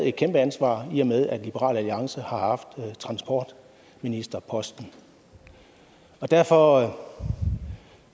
et kæmpe ansvar i og med at liberal alliance har haft transportministerposten og derfor